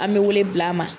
An bɛ wele bila a ma